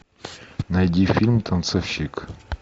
найди фильм танцовщик